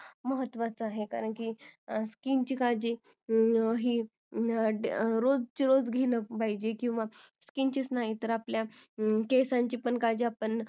महत्तवाच आहे कारण की skin ची काळजी ही रोजच्या रोज घेणं पाहिजेल किंवा skin चीच नाही तर आपल्या केसांची पण काळजी आपण